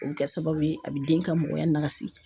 O bɛ kɛ sababu ye a bɛ den ka mɔgɔya nakasi.